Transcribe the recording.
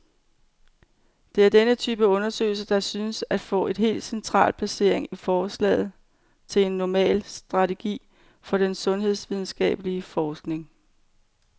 Det er denne type undersøgelser, der synes at få et helt central placering i forslaget til en normal strategi for den sundhedsvidenskabelig forskning.